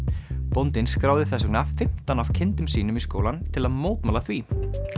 bóndinn skráði þess vegna fimmtán af kindum sínum í skólann til að mótmæla því